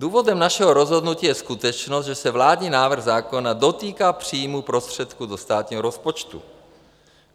Důvodem našeho rozhodnutí je skutečnost, že se vládní návrh zákona dotýká příjmu prostředků do státního rozpočtu.